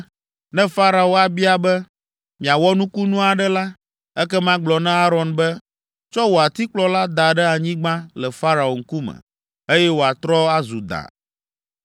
“Ne Farao abia be, ‘Miawɔ nukunu aɖe la,’ ekema gblɔ na Aron be, ‘Tsɔ wò atikplɔ la da ɖe anyigba le Farao ŋkume,’ eye wòatrɔ azu da.”